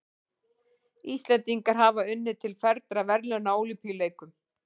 Íslendingar hafa unnið til fernra verðlauna á Ólympíuleikum.